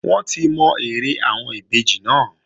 Wọ́n ti mọ eré àwọn ìbejì náà